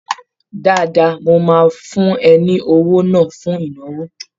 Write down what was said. Dáadáa, mo máa fún ẹ ní owó náà fún ìnáwó